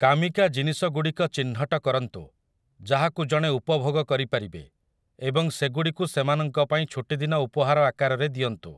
କାମିକା ଜିନିଷଗୁଡ଼ିକ ଚିହ୍ନଟ କରନ୍ତୁ, ଯାହାକୁ ଜଣେ ଉପଭୋଗ କରିପାରିବେ, ଏବଂ ସେଗୁଡ଼ିକୁ ସେମାନଙ୍କ ପାଇଁ ଛୁଟିଦିନ ଉପହାର ଆକାରରେ ଦିଅନ୍ତୁ ।